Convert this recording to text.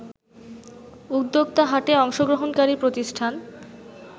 উদ্যোক্তা হাটে অংশগ্রহণকারী প্রতিষ্ঠান